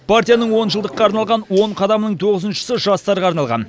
партияның онжылдыққа арналған он қадамының тоғызыншысы жастарға арналған